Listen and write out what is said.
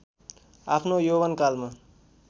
आफ्नो यौवन कालमा